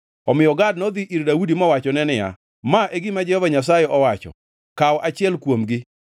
Omiyo Gad nodhi ir Daudi mowachone niya, “Ma e gima Jehova Nyasaye owacho: ‘Kaw achiel kuomgi: